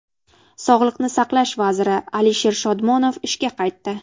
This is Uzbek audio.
Sog‘liqni saqlash vaziri Alisher Shodmonov ishga qaytdi.